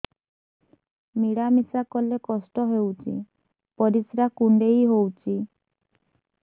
ମିଳା ମିଶା କଲେ କଷ୍ଟ ହେଉଚି ପରିସ୍ରା କୁଣ୍ଡେଇ ହଉଚି